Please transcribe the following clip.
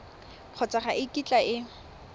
kgotsa ga e kitla e